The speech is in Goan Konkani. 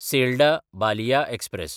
Selda: Ballia express